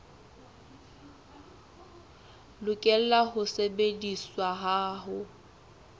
lokela ho sebediswa ha ho